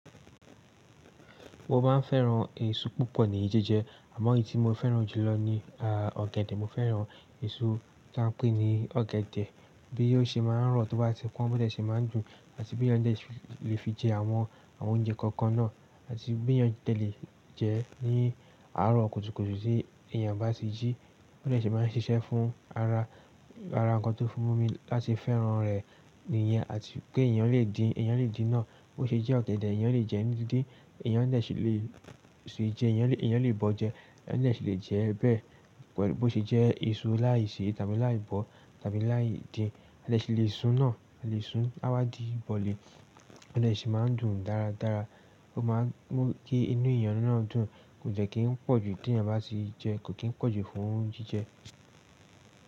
Mo máa ń fẹ́ran èso púpọ̀ ní jíjẹ, àmọ́ èyí tí mo fẹ́ran jù lọ ní ah ọ̀gẹ̀dẹ̀. Mo fẹ́ran èso táa ń pè ní ọ̀gẹ̀dẹ̀, bí ò ṣe máa ń rọ̀ tó bá ti pọ́n, bó dẹ ṣe máa ń dùn àti bí yàn de le fi jẹ àwọn, àwọn oúnjẹ kọ̀ọ̀kan náà àti bí yàn dẹ́lẹ̀ jẹ ní àárọ̀ kùtùkùtù tí èèyàn bá ti jí, bí ṣe máa ń ṣiṣẹ́ fún ara, ara ǹkan tó fi mú mi láti fẹ́ran rẹ̀ nìyẹn àti pé èèyàn lè dín, èèyàn lè dín náà bó ṣe jẹ́ ọ̀gẹ̀dẹ̀ èèyàn lè jẹ́ ní díndín, èèyàn de si lè se jẹ, èèyàn lè bọ́ jẹ, èèyàn dẹ ṣi lè jẹ ẹ́ bẹ́ẹ̀, pelu bó ṣe jẹ́ èso láì se tàbí láì bọ́ tàbí láì dín, a lè ṣi lè sun á, a lè sun á wádìí bọ̀lì, ó de ṣi máa ń dùn dáradára, ó máa ń mú kí inú èèyàn náà dùn, kò dẹ́ kí ń pọ̀jù tí èèyàn bá sì jẹ kó kí ń pọ̀jù fún jíjẹ.